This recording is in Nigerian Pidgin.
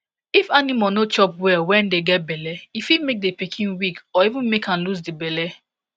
if animal no chop well when dey get belle e fit make the pikin weak or even make am lose the belle